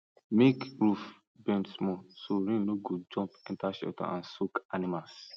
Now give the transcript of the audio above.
make roof bend small so rain no go jump enter shelter and soak animals